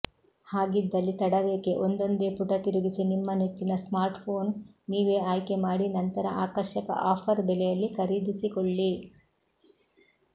ಹಾಗಿದ್ದಲ್ಲಿ ತಡವೇಕೆ ಒಂದೊಂದೇ ಪುಟ ತಿರುಗಿಸಿ ನಿಮ್ಮ ನೆಚ್ಚಿನ ಸ್ಮಾರ್ಟ್ಫೋನ್ ನೀವೇ ಆಯ್ಕೆಮಾಡಿ ನಂತರ ಆಕರ್ಷಕ ಆಫರ್ ಬೆಲೆಯಲ್ಲಿ ಖರೀದಿಸಿಕೊಳ್ಳಿ